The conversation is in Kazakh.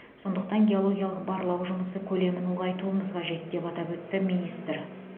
сондықтан геологиялық барлау жұмысы көлемін ұлғайтуымыз қажет деп атап өтті министр